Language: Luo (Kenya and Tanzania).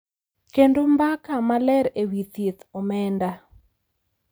Kendo mbaka maler e wi thieth, omenda,